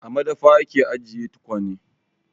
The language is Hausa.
A madafa ake ajiye tukwane.